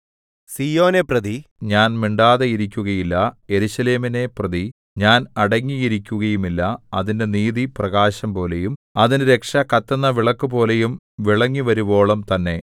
സീയോനെപ്രതി ഞാൻ മിണ്ടാതെ ഇരിക്കുകയില്ല യെരൂശലേമിനെപ്രതി ഞാൻ അടങ്ങിയിരിക്കുകയുമില്ല അതിന്റെ നീതി പ്രകാശംപോലെയും അതിന്റെ രക്ഷ കത്തുന്ന വിളക്കുപോലെയും വിളങ്ങിവരുവോളം തന്നെ